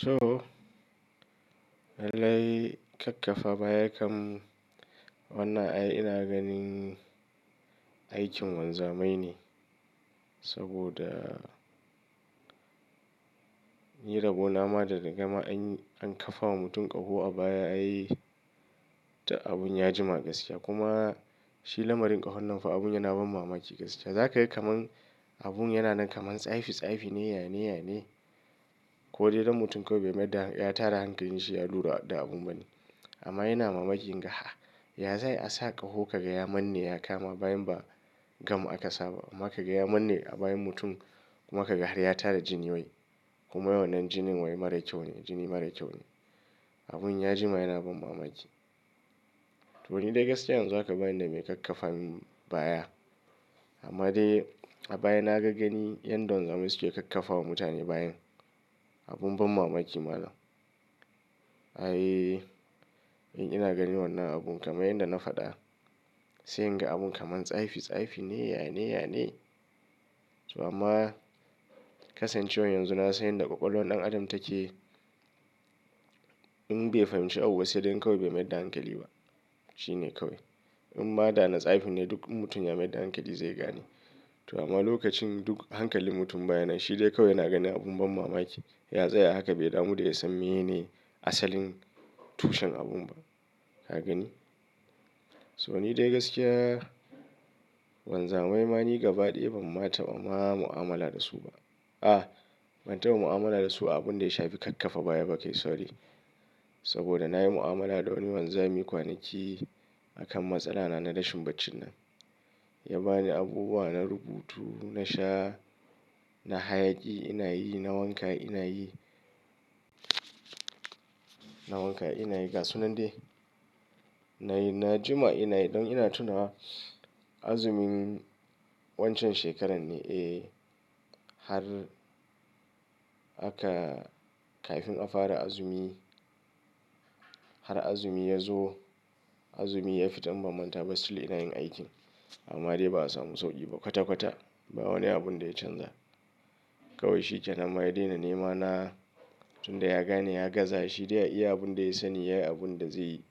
To, lalle kakkafa baya kam wannan ai ina ganin aikin wanzamai ne. Saboda ni rabo na ma da gama an kafawa mutum ƙaho a baya ai abun ya jima gaskiya. Kuma shi lamarin ƙahon nan fa abun yana ban mamaki gaskiya. Za ka yi kamar abun yana nan kamar tsafi tsafi ne, yane yane. Ko dai don mutum kawai bai maida ya tara hankalinsa, ya lura da abun bane. Amma yana mamaki, ga ya zai a sa ƙaho ka gaya manne ya kama bayan ba gam aka saba. Maka gaya manne a bayan mutum kuma ka ga har ya tara jini wai kuma wannan jinin wai mara kyau ne, jini mara kyau ne. Abun ya jima yana ban mamaki. To ni dai gaskiya yanzu haka bane dai mai kakkafa min baya. Amma dai a baya na ga gani yanda wanzamai suke kakkafawa mutane bayan. Abun ban mamaki ma malam. Ai, in ina ganin wannan abun kamar yanda na faɗa, sai in ga abun kamar tsafi tsafi ne, yane, yane. So amma kasancewar yanzu na san yadda ƙwaƙwalwan ɗan adam take. In bai fahimci abu ba sai dai kawai bai maida hankali ba. Shi ne kawai. In ma da na tsafin dai duk mutum ya maida hankali zai gane. To amma lokacin duk hankalin mutum baya nan shi dai kawai yana ganin abun ban mamaki. Ya zai haka bai damu da ya san mene ne asalin tushen abun ba. Ka gani? So ni dai gaskiya wanzamai ma ni gaba ɗaya ban manta ba ma mu'amala da su ba. A, ban taba mu'amala da su a abun da ya shafi kakkafa baya ba kai sorry. Saboda na yi mu'amala da wani wanzami kwanaki akan matsala na na rashin bacci nan. Ya ba ni abubuwa na rubutu, na sha, na hayaƙi ina yi, na wanka ina yi. Na wanka ina yi gasu nan dai. Na yi na jima ina yi ɗan ina tuna azumin wancan shekarar ne? Eh, har aka kafin aka fara azumi, har azumi ya zo, azumi ya fita in ba manta basu. Still ina yin aikin. Amma dai ba a samu sauƙi ba kwata kwata. Ba wani abun da ya canza. Kawai shi ke nama ya daina nema na tun da ya gane ya gaza. Shi dai ya iya abun da ya sani, ya yi abun da zai yi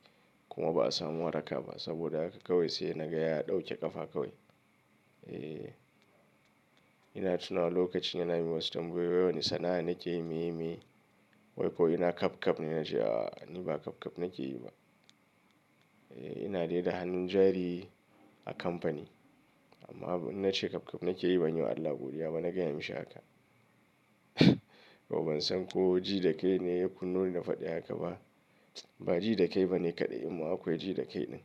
kuma ba a samu waraka ba. Saboda haka kawai sai ya na gaya ya ɗauke ƙafa kawai. Eh, ina tuna lokacin yana min wasu tambayoyi. Wai wane sana'a nake yi meye meye? Wai kawai ina kapkap ne. Na ce a ni ba kapkap nake yi ba. Eh, ina dai da hannun jari a kamfani. Amma in na ce kapkap nake yi ban yi wa Allah godiya ba na gaya mishi haka. Ko ban san ko ji da kai ne ya kunnoni ni faɗa haka ba. Ba ji da kai ba ne kaɗai amma akwai ji da kai ɗin.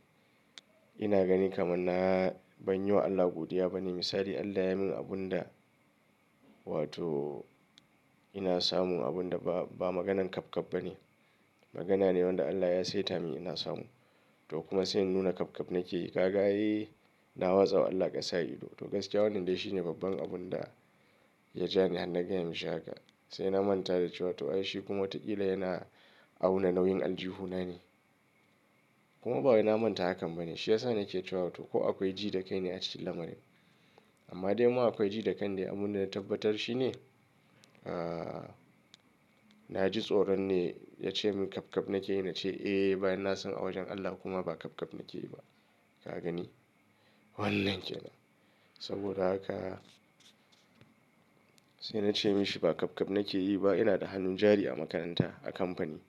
Ina gani kamar na ban yi wa Allah godiya ba ne. Misali Allah ya min abun da wato ina samu abun da ba, ba maganan kapkap ba ne. Magana ne wanda Allah ya saita mini ina samu. To kuma sai nuna kapkap nake yi. Ka ga, eh, na watsa wa Allah ƙasa ido. To gaskiya wannan dai shi ne babban abun da ya ja ni har na gaya mishi haka. Sai na manta da cewa to ai shi kuma taƙila yana auna nauyin aljihuna ne. Kuma bawai na manta hakan bane. Shi ya sa nake cewa to ko akwai ji da kai ne a cikin lamarin. Amma dai kuma akwai ji da kai ne. Abun da na tabbatar shi ne, ah, na ji tsoron ne ya ce min kapkap nake yi. Na ce, "Eh." Bayan na san a wajen Allah kuma ba kapkap nake yi ba. Ka gani? Wannan ke nan. Saboda haka sai na ce mishi ba kapkap nake yi ba. Ina da hannun jari a makaranta a kamfani.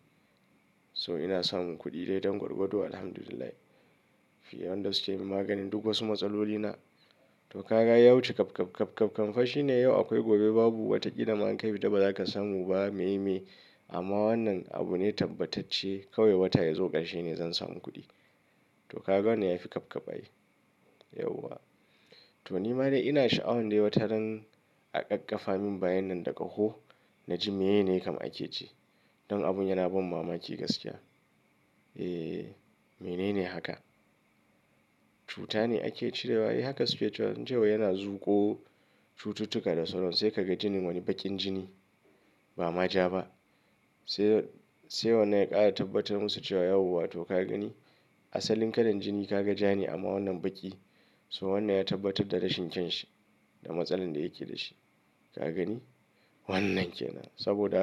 So ina samun kuɗi dai don gwargwado. Alhamdulillah. Fi yawan dasuke yi min maganin duk wasu matsalolina. To ka ga yawanci kapkap, kapkap kamfa shi ne yau akwai gobe babu. Wataƙila ma in kai fita ba za ka samu ba me yake yi. Amma wannan abu ne tabbatacce. Kawai wata ya zo ƙarshe ne zan samu kuɗi. To ka ga wane yafi kapkap ai? Yauwa. To ni ma dai ina sha'awar dai wata ran a ƙaƙƙafa min bayan nan da ƙaho. Na ji mene ne kamar ake ji. Don abun yana ban mamaki gaskiya. Eh, mene ne haka? Wai wani sana'a nake yi me yake yi? Sai ka ga jinin wani baƙin jini. Ba maja ba. Sai, sai wannan ya ƙara tabbatar musu cewa yauwa wato ka gani asalin kalan jini ka ga ja ne amma wannan baƙi. So wannan ya tabbatar da rashin kyanshi da matsalar da yake da shi. Ka gani? Wannan ke nan. Saboda haka.